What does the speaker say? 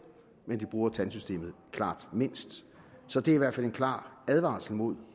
men de bruger klart mindst så det er i hvert fald en klar advarsel mod